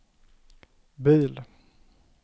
bil